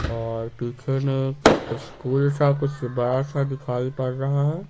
और पीछे में स्कूल सा कुछ बड़ा सा दिखाई पड़ रहा है।